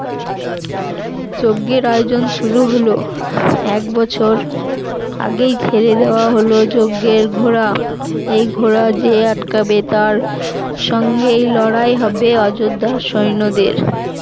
যজ্ঞর আয়োজন শুরু হল এক বছর আগেই ছেড়ে দেওয়া হলো যজ্ঞের ঘোড়া, এই ঘোড়া যে আটকাবে তার সঙ্গে লড়াই হবে অযোধ্যা সৈন্যদের